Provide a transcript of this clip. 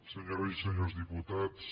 senyores i senyors diputats